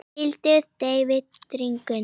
hvíld, deyfð, drungi